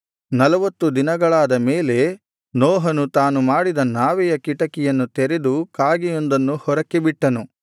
ನಲ್ವತ್ತು ದಿನಗಳಾದ ಮೇಲೆ ನೋಹನು ತಾನು ಮಾಡಿದ ನಾವೆಯ ಕಿಟಕಿಯನ್ನು ತೆರೆದು ಕಾಗೆಯೊಂದನ್ನು ಹೊರಕ್ಕೆ ಬಿಟ್ಟನು